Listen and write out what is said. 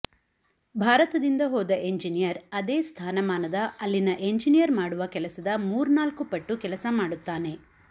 ಭಾರತದಿಂದ ಹೋದ ಇಂಜನೀಯರ್ ಅದೇ ಸ್ಥಾನಮಾನದ ಅಲ್ಲಿನ ಎಂಜನೀಯರ್ ಮಾಡುವ ಕೆಲಸದ ಮೂರ್ನಾಲ್ಕು ಪಟ್ಟು ಕೆಲಸ ಮಾಡುತ್ತಾನೆ